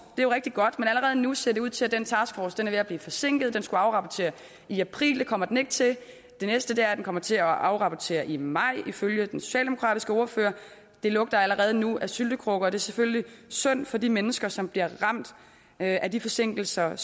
er jo rigtig godt men allerede nu ser det ud til at den taskforce er ved at blive forsinket den skulle afrapportere i april det kommer den ikke til det næste er at den kommer til at afrapportere i maj ifølge den socialdemokratiske ordfører det lugter allerede nu af syltekrukke og det er selvfølgelig synd for de mennesker som bliver ramt af de forsinkelser